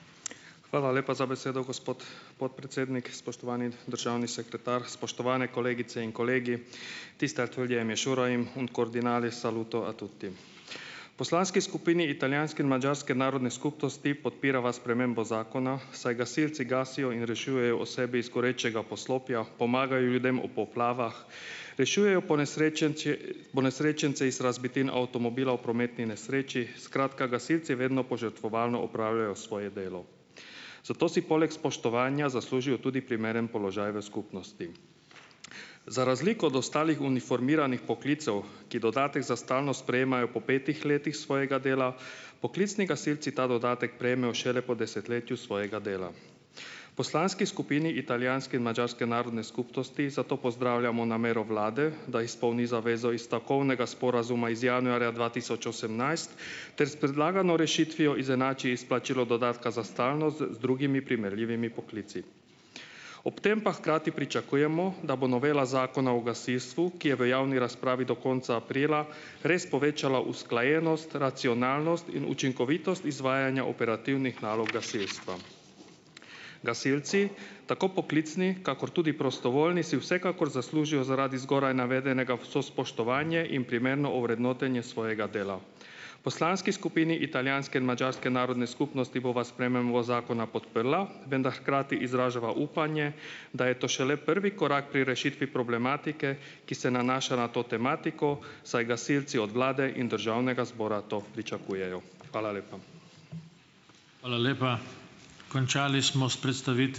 Hvala lepa za besedo, gospod podpredsednik, spoštovani državni sekretar, spoštovane kolegice in kolegi. Poslanski skupini italijanske in madžarske narodne skupnosti podpirava spremembo zakona, saj gasilci gasijo in rešujejo osebe iz gorečega poslopja, pomagajo ljudem ob poplavah, rešujejo ponesrečence iz razbitin avtomobilov v prometni nesreči, skratka, gasilci vedno požrtvovalno opravljajo svoje delo. Zato si poleg spoštovanja zaslužijo tudi primeren položaj v skupnosti. Za razliko od ostalih uniformiranih poklicev, ki dodatek za stalnost prejemajo po petih letih svojega dela, poklicni gasilci ta dodatek prejmejo šele po desetletju svojega dela. Poslanski skupini italijanske in madžarske narodne skupnosti zato pozdravljamo namero vlade, da izpolni zavezo iz stavkovnega sporazuma iz januarja dva tisoč osemnajst, ter s predlagano rešitvijo izenači izplačilo dodatka za stalnost z drugimi primerljivimi poklici. Ob tem pa hkrati pričakujemo, da bo novela Zakona o gasilstvu, ki je v javni razpravi do konca aprila, res povečala usklajenost, racionalnost in učinkovitost izvajanja operativnih nalog gasilstva . Gasilci , tako poklicni, kakor tudi prostovoljni, si vsekakor zaslužijo, zaradi zgoraj navedenega, vse spoštovanje in primerno ovrednotenje svojega dela. Poslanski skupini italijanske in madžarske narodne skupnosti bova zakona podprla, hkrati izražava upanje, da je to šele prvi korak pri rešitvi problematike, ki se nanaša na to tematiko, saj gasilci od vlade in državnega zbora to pričakujejo. Hvala lepa. Hvala lepa. Končali smo s ...